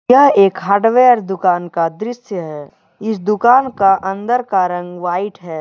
यह एक हार्डवेयर दुकान का दृश्य है इस दुकान का अंदर का रंग व्हाइट है।